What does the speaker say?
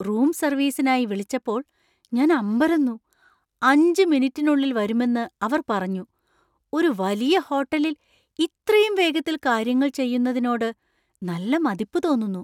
Room സർവീസിനായി വിളിച്ചപ്പോൾ ഞാൻ അമ്പരന്നു, അഞ്ച് മിനിറ്റിനുള്ളിൽ വരുമെന്ന് അവർ പറഞ്ഞു. ഒരു വലിയ ഹോട്ടലിൽ ഇത്രയും വേഗത്തിൽ കാര്യങ്ങൾ ചെയുന്നതിനോട് നല്ല മതിപ്പ് തോന്നുന്നു.